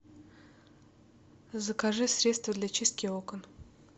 закажи средство для чистки окон